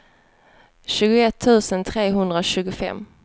tjugoett tusen trehundratjugofem